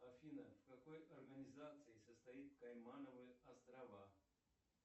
афина в какой организации состоит каймановы острова